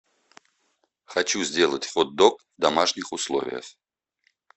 хочу сделать хот дог в домашних условиях